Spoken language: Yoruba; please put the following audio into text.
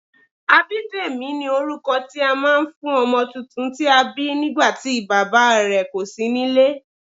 Abidemi ni orúkọ tí a máa ń fún ọmọ tuntun tí a bí nígbàtí Bàbá ẹ̀ kò sí nílé.